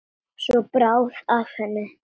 Svo bráði af henni.